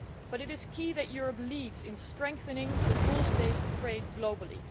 It is key that Europe lead in strengthening rules based trade globally.